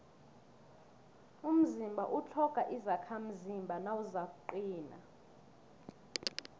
umzimba utlhoga izakhamzimba nawuzakuqina